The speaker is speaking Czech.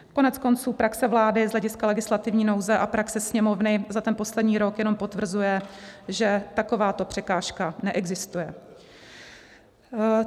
Koneckonců praxe vlády z hlediska legislativní nouze a praxe Sněmovny za ten poslední rok jenom potvrzuje, že takováto překážka neexistuje.